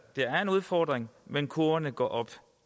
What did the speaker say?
er en udfordring men kurverne går op